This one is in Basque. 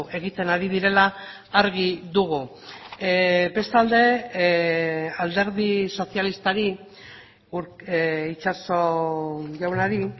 egiten ari direla argi dugu bestalde alderdi sozialistari itxaso jaunari